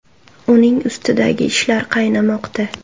Uning ustidagi ishlar qaynamoqda.